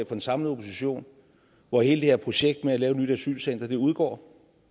den samlede opposition hvor hele det her projekt med at lave et nyt asylcenter udgår